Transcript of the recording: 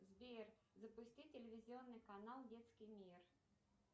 сбер запусти телевизионный канал детский мир